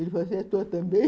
Ele dizia assim, é tua também.